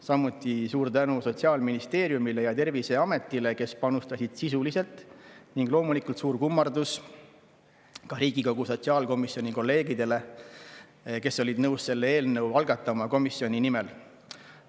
Samuti suur tänu Sotsiaalministeeriumile ja Terviseametile, kes panustasid sisuliselt, ning loomulikult suur kummardus ka kolleegidele Riigikogu sotsiaalkomisjonis, kes olid nõus selle eelnõu komisjoni nimel algatama.